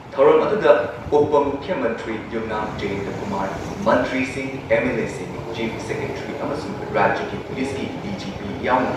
ꯊꯧꯔꯝ ꯑꯗꯨꯗ ꯎꯄ ꯃꯨꯈ꯭ꯌ ꯃꯟꯇ꯭ꯔꯤ ꯌꯨꯝꯅꯥꯝ ꯖꯌꯦꯟꯇꯀꯨꯃꯥꯔ, ꯃꯟꯇ꯭ꯔꯤꯁꯤꯡ, ꯑꯦꯝ.ꯑꯦꯜ.ꯑꯦꯁꯤꯡ, ꯆꯤꯐ ꯁꯦꯀ꯭ꯔꯦꯇ꯭ꯔꯤ ꯑꯃꯁꯨꯡ ꯔꯥꯖ꯭ꯌꯒꯤ ꯄꯨꯂꯤꯁꯀꯤ ꯗꯤ.ꯖꯤ.ꯄꯤ ꯌꯥꯎꯅ